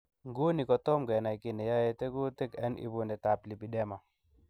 Nguni kotom kenai kiy neyoe tekutik en ibunetab lipdema.